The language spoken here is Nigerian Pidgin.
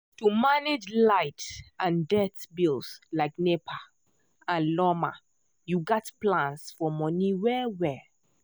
to manage light and dirt bills like nepa and lawma you gats plan your money well well.